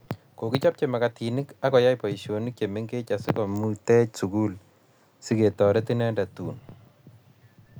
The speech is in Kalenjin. Kokichbe makatinik ak koyai boishonik che mengech asikomutech sukul siketorit indet tun